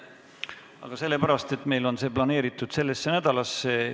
Aga sellepärast, et see on meil planeeritud sellesse nädalasse.